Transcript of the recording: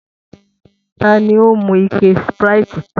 Ta ni ó mu ike Sprite tán?